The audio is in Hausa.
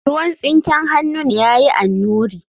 ruwan tsinken hannun ya yi annuri